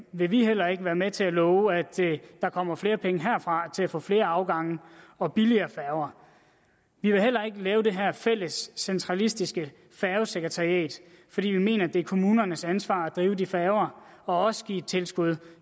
vil vi heller ikke være med til at love at der kommer flere penge herfra til at få flere afgange og billigere færger vi vil heller ikke lave det her fælles centralistiske færgesekretariat fordi vi mener det er kommunernes ansvar at drive de færger og også give et tilskud